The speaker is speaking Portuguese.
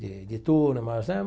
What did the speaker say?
de de turmas, né?